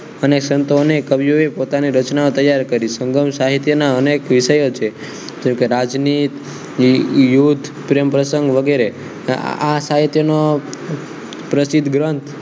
અનેક સંતો અનેક કવિઓએ પોતાની રચના તૈયાર કરી સ્વભાવસાહિત્યના અનેક વિષયો છે રાજનીત યુદ્ધ પ્રેમરતન વગેરે આ સાહિત્યનો પ્રસિદ્ધ ગ્રંથ